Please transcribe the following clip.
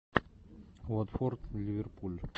уотфорд ливерпуль